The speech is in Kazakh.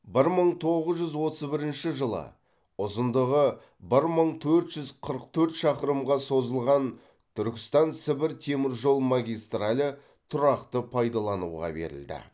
бір мың тоғыз жүз отыз бірінші жылы ұзындығы бір мың төрт жүз қырық төрт шақырымға созылған түркістан сібір темір жол магистралі тұрақты пайдалануға берілді